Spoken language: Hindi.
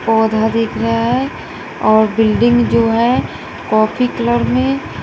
पौधा दिख रहा है और बिल्डिंग जो है कॉफी कलर में--